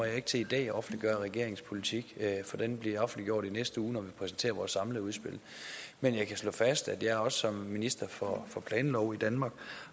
jeg ikke til i dag at offentliggøre regeringens politik for den bliver offentliggjort i næste uge når vi præsenterer vores samlede udspil men jeg kan slå fast at jeg også som minister for for planloven i danmark